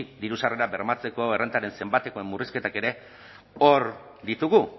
diru sarrerak bermatzeko errentaren zenbatekoen murrizketak ere hor ditugu